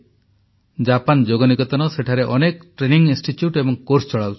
Japan Yog Niketan ସେଠାରେ ଅନେକ ପ୍ରଶିକ୍ଷଣ କୋର୍ସ ଚଳାଉଛି